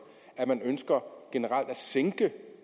at man ønsker at sænke